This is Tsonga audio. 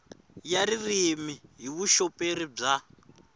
ya ririmi hi vuxoperi bya